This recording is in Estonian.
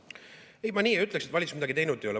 Ei, ma nii ei ütleks, et valitsus midagi teinud ei ole.